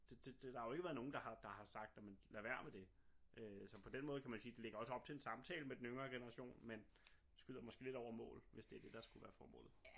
Der har jo ikke været nogen der har der har sagt jamen lad være med det øh så på den måde kan jo man sige det ligger jo også op til en samtale med den yngre generation men skyder den måske lidt over mål hvis det er det der skulle være formålet